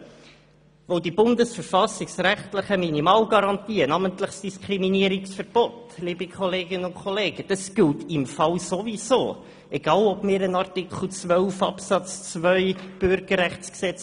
Liebe Kolleginnen und Kollegen, die bundesverfassungsrechtlichen Minimalgarantien, namentlich das Diskriminierungsverbot, gelten sowieso, ungeachtet dessen, ob wir einen Artikel 12 Absatz 2 KBüG erlassen.